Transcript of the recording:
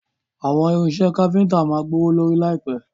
Àwọn irinṣẹ́ káfíntà máa gbówó lórí láìpẹ̀.